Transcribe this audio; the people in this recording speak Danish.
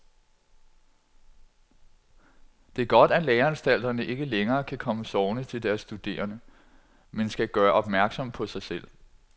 Det er godt, at læreanstalterne ikke længere kan komme sovende til deres studerende, men skal gøre opmærksom på sig selv.